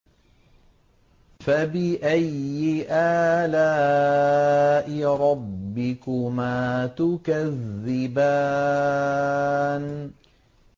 فَبِأَيِّ آلَاءِ رَبِّكُمَا تُكَذِّبَانِ